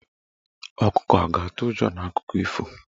Ọkụkọ a ga-atụ ụjọ n'akụkọ ifo?